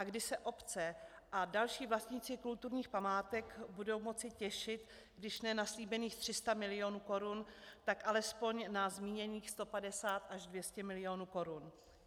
A kdy se obce a další vlastníci kulturních památek budou moci těšit když ne na slíbených 300 milionů korun, tak alespoň na zmíněných 150 až 200 milionů korun?